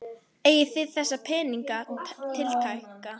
Eigið þið þessa peninga tiltæka?